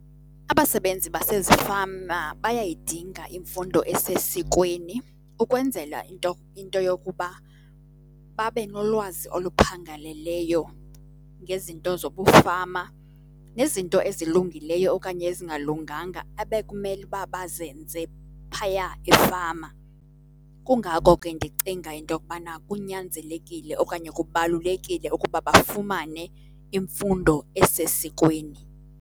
Abasebenzi basezifama bayayidinga imfundo esesikweni ukwenzela into yokuba babe nolwazi oluphangaleleyo ngezinto zobufama nezinto ezilungileyo okanye ezingalunganga ebekumele uba bazenze phaya efama. Kungako ke ndicinga into yokubana kunyanzelekile okanye kubalulekile ukuba bafumane imfundo esesikweni.